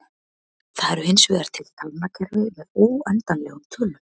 Það eru hinsvegar til talnakerfi með óendanlegum tölum.